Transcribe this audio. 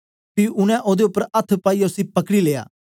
पी उनै ओदे उपर अथ्थ पाईयै उसी पकड़ी लिया